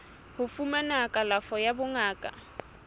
ho fumana kalafo ya bongaka